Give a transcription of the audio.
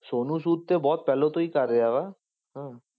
ਸੋਨੂੰ ਸੂਦ ਤੇ ਬਹੁਤ ਪਹਿਲਾਂ ਤੋਂ ਹੀ ਕਰ ਰਿਹਾ ਵਾ ਹਾਂ।